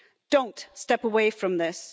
Don't step away from this.